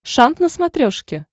шант на смотрешке